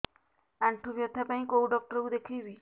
ଆଣ୍ଠୁ ବ୍ୟଥା ପାଇଁ କୋଉ ଡକ୍ଟର ଙ୍କୁ ଦେଖେଇବି